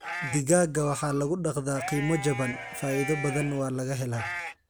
Digaagga waxa lagu dhaqdaa qiimo jaban, faa�iido badana waa laga helaa.